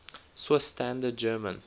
swiss standard german